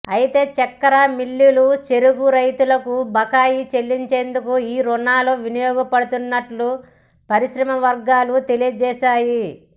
అయితే చక్కెర మిల్లులు చెరకు రైతులకు బకాయిలు చెల్లించేందుకు ఈ రుణాలు వినియోగపడనున్నట్లు పరిశ్రమవర్గాలు తెలియజేశాయి